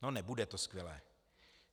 No nebude to skvělé.